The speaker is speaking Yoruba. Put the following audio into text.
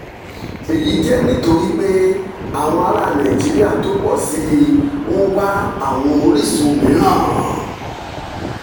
èyí jẹ́ nítorí pé àwọn ará nàìjíríà tó pọ̀ sí i ń wá àwọn orísun mìíràn